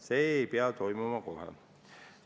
See ei pea toimuma kohe.